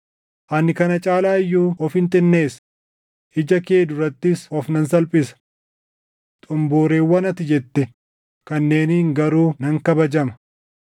Ani kana caalaa iyyuu ofin xinneessa; ija kee durattis of nan salphisa. Xomboreewwan ati jette kanneeniin garuu nan kabajama.”